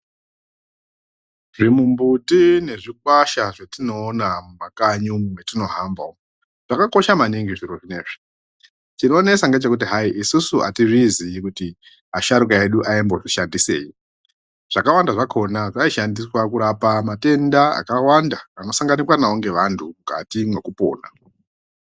Zvimumbuti nezvikwasha zvatinoona mumakanyimwu mwatinohamba umwu zvakakosha maningi zviri zviya. Chinonesa ngechekuti hayi isusu atizvizii kuti asharuka edu aimbozvishandisei. Zvakawanda zvakhona zvaishandiswa kurapa matenda akawanda anosanganikwa nawo ngevantu mukati mwekupona.